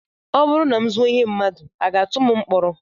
Ọ bụrụ na m zuo ihe mmadụ, a ga-atụ m mkpọrọ?